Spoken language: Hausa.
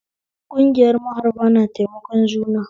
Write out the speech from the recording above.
Kungiyar maharba na taimakon juna